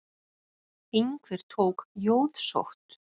Einhver tók jóðsótt.